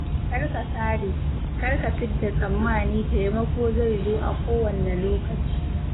Kar ka sare, kar ka fidda tsammani taimako zai zo a kowanne lokaci.